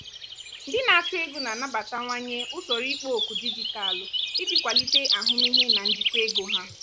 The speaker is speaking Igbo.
ndị na-achụ ego na-anabatawanye usoro ikpo okwu dijitalụ iji kwalite ahụmịhe na njikwa ego ha.